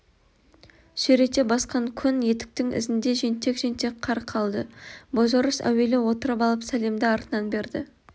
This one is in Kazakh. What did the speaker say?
сүйрете басқан көн етіктің ізінде жентек-жентек қар қалды бозорыс әуелі отырып алып сәлемді артынан берді